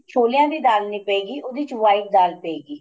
ਛੋਲਿਆਂ ਦੀ ਦਾਲ ਨਹੀਂ ਪਏ ਗਈ ਉਹਦੇ ਚ white ਦਾਲ ਪਏਗੀ